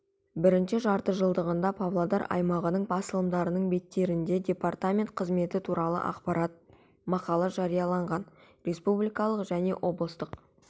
бірінші жартыжылдығында павлодар аймағының басылымдарының беттерінде департаментінің қызметі туралы ақпарат мақала жарияланған республикалық және облыстық